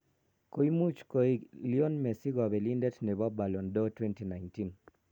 Koimuch koik Lionel Messi kobelindet nebo Ballon d'Or 2019.